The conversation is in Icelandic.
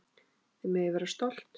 Þið megið vera svo stolt.